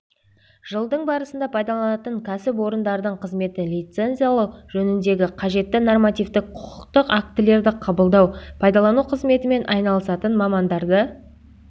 жылдың барысында пайдаланатын кәсіпорындардың қызметін лицензиялау жөніндегі қажетті нормативтік құқықтық актілерді қабылдау пайдалану қызметімен айналысатын мамандарды